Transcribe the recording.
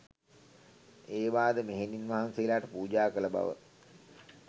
ඒවාද මෙහෙණින් වහන්සේලාට පූජා කළ බව